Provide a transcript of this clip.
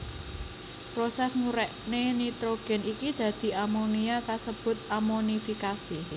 Prosès ngurékna nitrogén iki dadi amonia kasebut amonifikasi